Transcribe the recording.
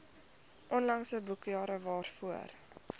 onlangse boekjare waarvoor